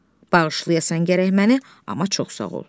Bağışlayasan gərək məni, amma çox sağ ol.